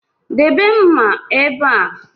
Debe mma ebe a